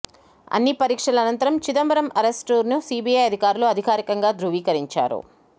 అన్ని పరీక్షల అనంతరం చిదంబరం అరెస్ట్ను సీబీఐ అధికారులు అధికారికంగా ధృవికరించారు